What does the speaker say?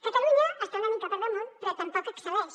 catalunya està una mica per damunt però tampoc hi excel·leix